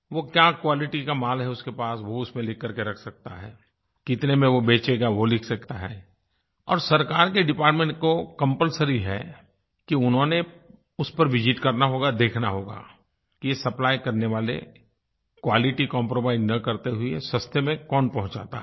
वो क्या क्वालिटी का माल है उसके पास वो उसमें लिखकर के रख सकता है कितने में वो बेचेगा वो लिख सकता है और सरकार के डिपार्टमेंट को कंपल्सरी है कि उन्होंने उस पर विसित करना होगा देखना होगा कि ये सप्लाई करने वाले क्वालिटी कंप्रोमाइज न करते हुए सस्ते में कौन पहुँचाता है